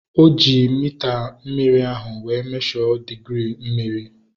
O ji mita mmiri ahu wee mesho digirii mmiri